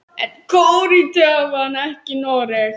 En Króatía vann ekki Noreg.